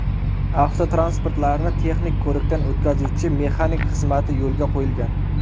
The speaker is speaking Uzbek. Avtotransportlarni texnik ko‘rikdan o‘tkazuvchi mexanik xizmati yo‘lga qo‘yilgan.